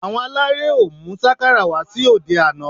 Àwọn aláré ò mú sákàrà wá sí òde àná